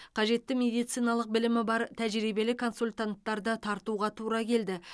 қажетті медициналық білімі бар тәжірибелі консультанттарды тартуға тура келді